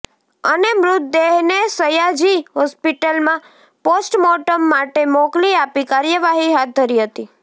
અને મૃતદેહને સયાજી હોસ્પિટલમાં પોષ્ટમોર્ટમ માટે મોકલી આપી કાર્યવાહી હાથ ધરી હતી